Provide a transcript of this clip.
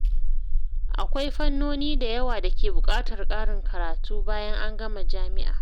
Akwai fannoni da yawa da ke buƙatar ƙarin karatu bayan an gama jami’a.